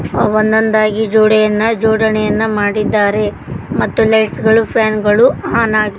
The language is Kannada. ಒಂದೊಂದಾಗಿ ಜೋಡಿ ಜೋಡಣೆಯನ್ನ ಮಾಡಿದ್ದಾರೆ ಮತ್ತು ಲೈಟ್ಸ್ ಗಳು ಮತ್ತು ಫ್ಯಾನ್ಗ ಗಳು ಆನ್ ಆಗಿ --